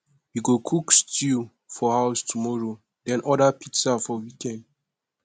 we go cook stew for house tomorrow then order pizza for weekend